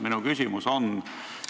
Minu küsimus on selline.